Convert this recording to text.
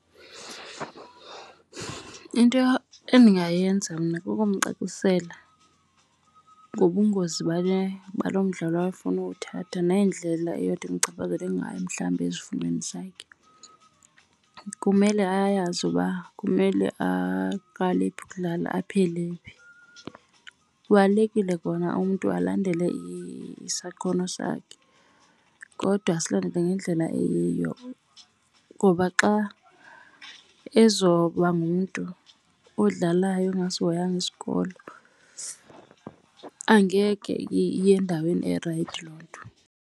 Into endingayenza mna kukumcacisela ngobungozi balo mdlalo afuna uwuthatha nendlela eyothi imchaphazele ngayo mhlawumbi ezifundweni zakhe. Kumele ayazi uba kumele aqale phi ukudlala aphele phi. Kubalulekile kona umntu alandele isakhono sakhe kodwa asilandele ngendlela eyiyo ngoba xa ezoba ngumntu odlalayo ogasihoyanga isikolo angeke iye endaweni erayithi loo nto.